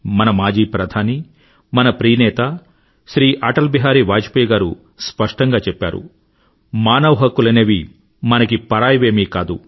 మన మాజీ ప్రధానీ మన ప్రాణ ప్రియ నేత శ్రీ అటల్ బిహారీ వాజ్పేయ్ గారు స్పష్టంగా చెప్పారు మానవ హక్కులనేవి మనకి పరాయివేమీ కాదు